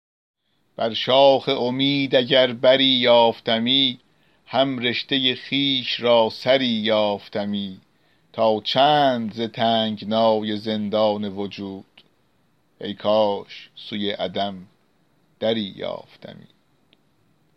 بر شاخ امید اگر بری یافتمی هم رشته خویش را سری یافتمی تا چند ز تنگنای زندان وجود ای کاش سوی عدم دری یافتمی